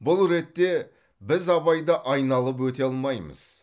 бұл ретте біз абайды айналып өте алмаймыз